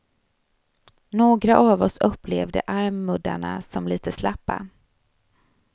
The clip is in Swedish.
Några av oss upplevde armmuddarna som lite slappa.